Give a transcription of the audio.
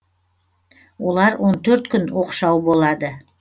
олар он төрт күн оқшау болады